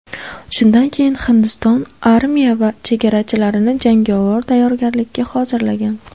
Shundan keyin Hindiston armiya va chegarachilarni jangovar tayyorgarlikka hozirlagan.